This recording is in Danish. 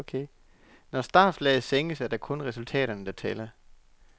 Når startflaget sænkes, er det kun resultaterne der tæller.